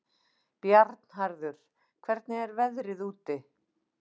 Bjarnharður, hvernig er veðrið úti?